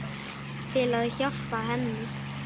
Til að hjálpa henni.